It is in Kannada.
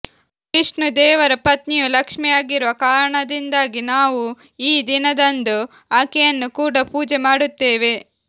ವಿಷ್ಣು ದೇವರ ಪತ್ನಿಯು ಲಕ್ಷ್ಮೀಯಾಗಿರುವ ಕಾರಣದಿಂದಾಗಿ ನಾವು ಈ ದಿನದಂದು ಆಕೆಯನ್ನು ಕೂಡ ಪೂಜೆ ಮಾಡುತ್ತೇವೆ